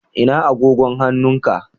Ina agogon hannun ka?